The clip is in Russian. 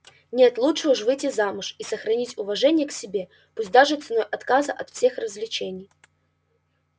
нет лучше уж выйти замуж и сохранить уважение к себе пусть даже ценой отказа от всех развлечений